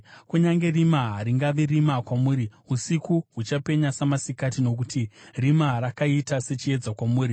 kunyange rima haringavi rima kwamuri; usiku huchapenya samasikati, nokuti rima rakaita sechiedza kwamuri.